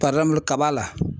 kaba la